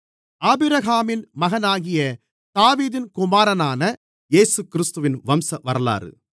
ஆபிரகாமின் மகனாகிய தாவீதின் குமாரனான இயேசுகிறிஸ்துவின் வம்சவரலாறு